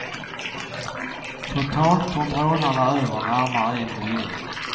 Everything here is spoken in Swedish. Totalt kom rånarna över närmare en miljon.